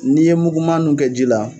N'i ye muguma nu kɛ ji la